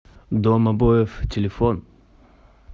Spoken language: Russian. дом обоев телефон